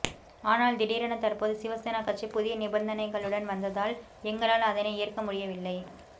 ஆனால் திடீரென தற்போது சிவசேனா கட்சி புதிய நிபந்தனைகளுடன் வந்ததால் எங்களால் அதனை ஏற்க முடியவில்லை